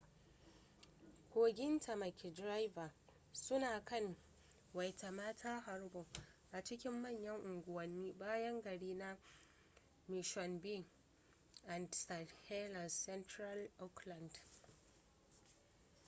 kogin tamaki drive suna kan waitemata harbor a cikin manyan unguwannin bayan gari na mission bay da st heliers a central auckland